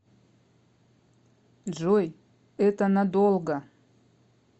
джой это надолго